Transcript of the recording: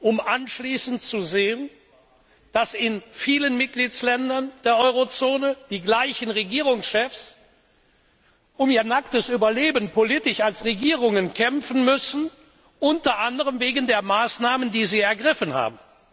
um anschließend zu sehen, dass in vielen Mitgliedsländern der Eurozone die gleichen Regierungschefs politisch um ihr nacktes Überleben als Regierungen kämpfen müssen, unter anderem wegen der Maßnahmen, die sie ergriffen haben.